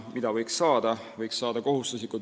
Mida võiks selle tulemusena saada?